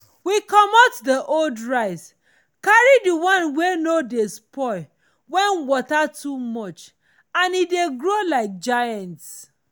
we comot the old rice carry the one wey no dey spoil when water too much and e dey grow like giants